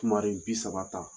bi saba ta